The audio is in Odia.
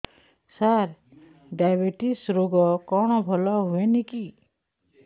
ସାର ଡାଏବେଟିସ ରୋଗ କଣ ଭଲ ହୁଏନି କି